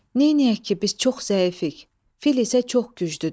Neynəyək ki, biz çox zəifik, fil isə çox güclüdür.